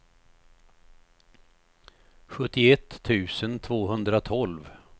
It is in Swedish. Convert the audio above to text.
sjuttioett tusen tvåhundratolv